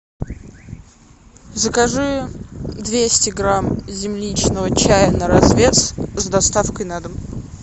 закажи двести грамм земляничного чая на развес с доставкой на дом